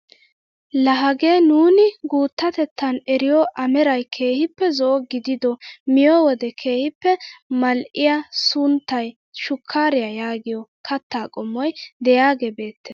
La hagee nuuni guuttatetan eriyoo ameray keehippe zo'o gidido miyoo wode keehippe mal"iyaa sunttay shukkariyaa yaagiyoo kattaa qomoy de'iyaagee beettees.